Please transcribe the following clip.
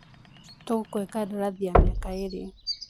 Tũgũkũhe kandarathii ya miaka ĩrĩ